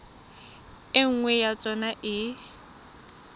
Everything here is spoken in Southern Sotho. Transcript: e nngwe ya tsona e